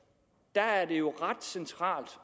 der er det jo ret centralt